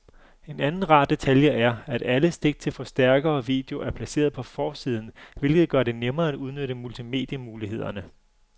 En anden rar detalje er, at alle stik til forstærker og video er placeret på forsiden, hvilket gør det nemmere at udnytte multimedie-mulighederne.